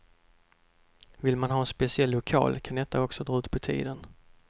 Vill man ha en speciell lokal kan detta också dra ut på tiden.